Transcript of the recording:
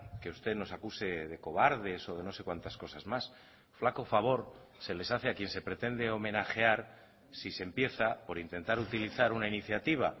que usted nos acuse de cobardes o de no sé cuántas cosas más flaco favor se les hace a quien se pretende homenajear si se empieza por intentar utilizar una iniciativa